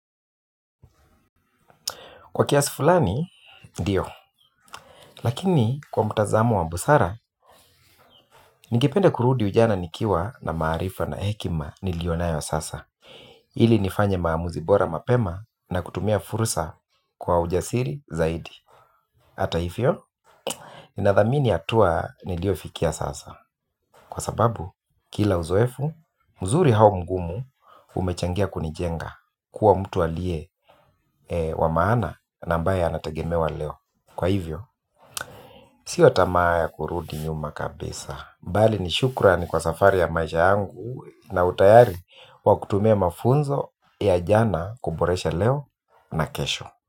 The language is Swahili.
Kwa kiasi fulani, ndiyo. Lakini, kwa mtazamo wa busara, ningependa kurudi ujana nikiwa na maarifa na hekima nilionayo sasa. Ili nifanye maamuzi bora mapema na kutumia fursa kwa ujasiri zaidi. Hata hivyo, nadhamini hatua niliofikia sasa. Kwa sababu, kila uzoefu, mzuri au mgumu umechangia kunijenga kuwa mtu aliye wa maana na ambaye anategemewa leo. Kwa hivyo, sio tamaa ya kurudi nyuma kabisa, bali ni shukrani kwa safari ya maisha yangu na utayari wa kutumia mafunzo ya jana kuboresha leo na kesho.